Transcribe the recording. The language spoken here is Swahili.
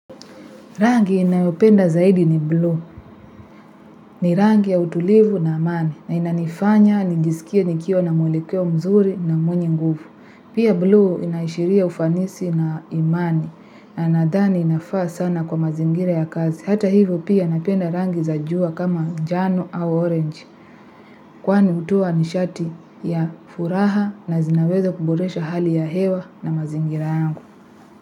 Rangi ninayopenda zaidi ni blue, ni rangi ya utulivu na amani, na inanifanya, nijisikie nikie nikiwa na mwelekeo mzuri na mwenye nguvu. Pia blue inaishiria ufanisi na imani, na nadhani inafaa sana kwa mazingira ya kazi. Hata hivyo pia napenda rangi zajua kama njano au orange, kwani utowa nishati ya furaha na zinaweza kuburesha hali ya hewa na mazingira yangu.